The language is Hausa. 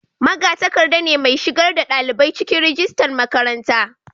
magatakarda ne mai shigar da dalibai cikin rajistan makaranta